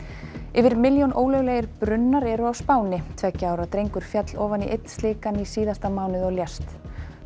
yfir milljón ólöglegir brunnar eru á Spáni tveggja ára drengur féll ofan í einn slíkan í síðasta mánuði og lést